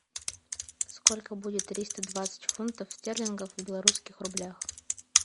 сколько будет триста двадцать фунтов стерлингов в белорусских рублях